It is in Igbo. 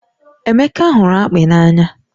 Emeka hụrụ akpị n'anya